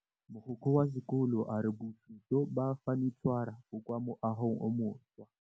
Mogokgo wa sekolo a re bosutô ba fanitšhara bo kwa moagong o mošwa.